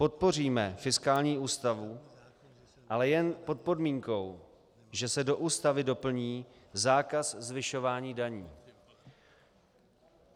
Podpoříme fiskální ústavu, ale jen pod podmínkou, že se do Ústavy doplní zákaz zvyšování daní.